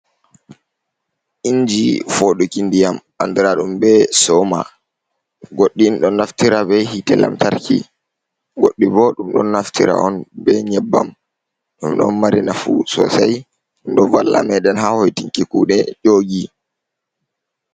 Inji foɗuki ndiyam andira ɗum be soma, goɗɗin ɗo naftira be hite lamtarki, goɗɗi bo ɗum ɗon naftira on be nyebbam, ɗum ɗon mari nafu sosei ɗo valla meden ha hoitinki kuɗe nyogi.